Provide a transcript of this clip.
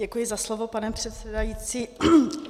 Děkuji za slovo, pane předsedající.